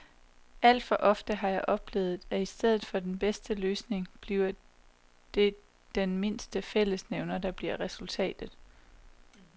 Alt for ofte har jeg oplevet, at i stedet for den bedste løsning bliver det den mindste fællesnævner, der bliver resultatet.